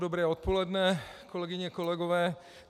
Dobré odpoledne, kolegyně, kolegové.